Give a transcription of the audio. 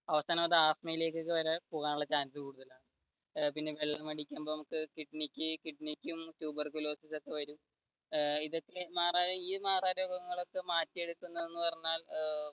അവസാനം അത് ആസ്ത്മയിലേക്ക് ഒക്കെ വരെ പോകാനുള്ള chance ഉണ്ട് പിന്നെ വെള്ളമടിക്കുമ്പോൾ കിഡ്‌നിക്ക് tuberculosis ഒക്കെ വരും ഇതൊക്കെ ഈ മാറാരോഗങ്ങളൊക്കെ മാറ്റിയെടുക്കുന്നത് എന്ന് പറഞ്ഞാൽ